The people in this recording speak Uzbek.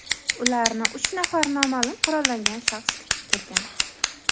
Ularni uch nafar noma’lum qurollangan shaxs kutib turgan.